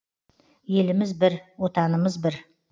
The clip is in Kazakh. еліміз бір отанымыз бір